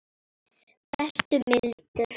Vertu mildur.